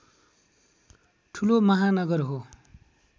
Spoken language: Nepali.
ठूलो महानगर हो